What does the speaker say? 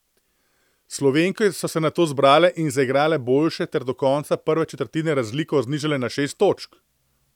Slovenke so se nato zbrale in zaigrale boljše ter do konca prve četrtine razliko znižale na šest točk.